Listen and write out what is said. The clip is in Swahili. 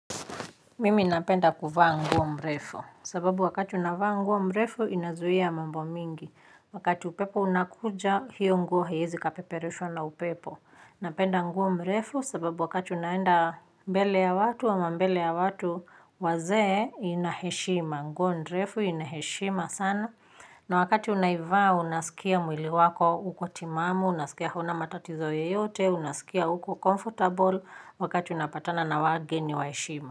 Mimi napenda kuvaa nguo mrefu sababu wakati unavaa nguo mrefu inazuia mambo mingi wakati upepo unakuja hiyo nguo haiwezi ikapeperushwa na upepo. Napenda nguo mrefu sababu wakati unaenda mbele ya watu ama mbele ya watu wazee ina heshima. Nguo mrefu inaheshima sana. Na wakati unaivaa unasikia mwili wako uko timamu unasikia hauna matatizo yoyote unasikia uko comfortable wakati unapatana na wageni wa heshima.